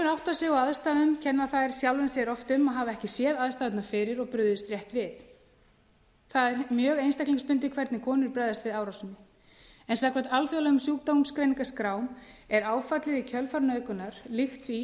átta sig á aðstæðum kenna þær sjálfum sér oft um að hafa ekki séð aðstæðurnar fyrir og brugðist rétt við það er mjög einstaklingsbundið hvernig konur bregðast við árásinni en samkvæmt alþjóðlegum sjúkdómsgreiningaskrám er áfallið í kjölfar nauðgunar líkt því